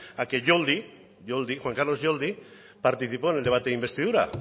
a que yoldi juan carlos yoldi participó en el debate de investidura